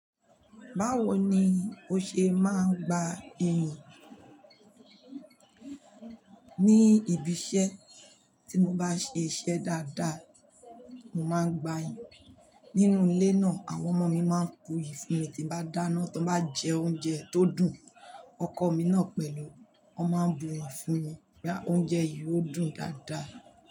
Báwo ni ó ṣe máa ń gba iyùn? Ni ibi iṣẹ́ tí mo bá ṣe iṣẹ́ dáadáa, mo máa gba iyùn. Nínú ilé náà, àwọn ọmọ mi máa ń bu iyi fún mi tí bá dáná. Tí wọ́n bá jẹ oúnjẹ tó dùn, ọkọ mi náà pẹ̀lú, wọ́n máa bu iyùn fún mi pé oúnjẹ yìí ó dùn dáadáa.